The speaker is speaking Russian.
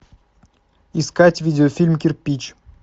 искать видеофильм кирпич